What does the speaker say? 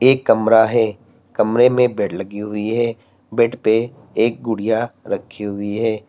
एक कमरा है कमरे में बेड लगी हुई है बेड पे एक गुड़िया रखी हुई है।